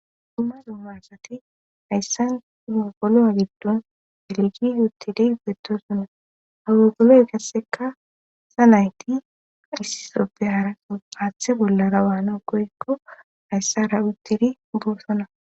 duma duma asati hayssan duzumoqolo7a giddon belgi yutili gettosuna hawegoley kasseka sa nayti isisoppe haara aaththe bollara waano woykko hayssa ra uttiri borsona